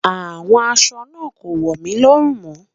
Awọn àṣọ naa kò wọ mí lórùn mó.